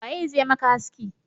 Waye zai maka haski?